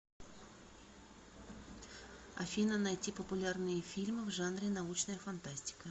афина найти популярные фильмы в жанре научная фантастика